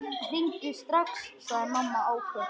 Hringdu strax, sagði mamma áköf.